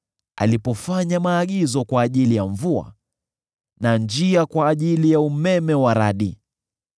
alipofanya maagizo kwa ajili ya mvua na njia kwa ajili ya umeme wa radi,